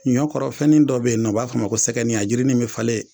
Ɲɔkɔrɔ fɛnin dɔ be yen nɔ o b'a fɔ a ma ko sɛgɛni a jirini be falen